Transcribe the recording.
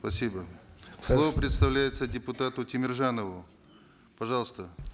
спасибо слово предоставляется депутату темиржанову пожалуйста